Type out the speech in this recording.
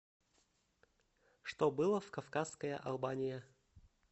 что было в кавказская албания